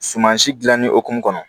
Suman si dilanni hukumu kɔnɔ